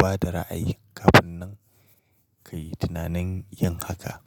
ba da ra'ayi kafin nan kayi tunanin yin haka.